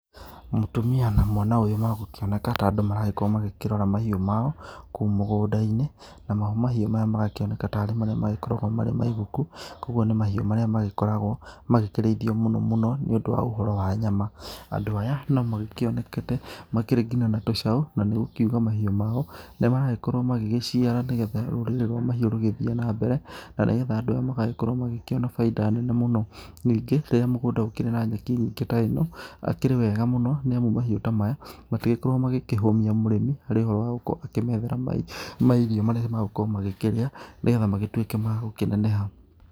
Mũtumia na mwana ũyũ magũkĩoneka ta andũ maragĩkorwo makĩrora mahiũ mao kũu mũgũnda-inĩ, namo mahiũ maya magakĩoneka tarĩ marĩa magĩkoragwo marĩ maiguku, koguo nĩ mahiũ marĩa makoragwo magĩkĩrĩithio mũno mũno nĩ ũndũ wa ũhoro wa nyama, andũ aya no magĩkĩonekete makĩrĩ nginya na tũcao na nĩgũkĩuga mahiũ mao nĩ maragĩkorwo magĩgĩciarana, nĩgetha rũrĩrĩ rwa mahiũ rũgĩthiĩ na mbere, na nĩgetha andũ aya magagĩkorwo magĩkĩona bainda nene mũno, ningĩ rĩrĩa mũgũnda ũkĩrĩ na nyeki nene ta ĩno akĩrĩ wega mũno, nĩamu mahiũ ta maya matigĩkoragwo magĩkĩhũmia mũrĩmi harĩ ũhoro wa gũkorwo akĩmethera mario marĩa magũkorwo magĩkĩrĩa, nĩgetha magĩtuĩke ma gũkĩneneha.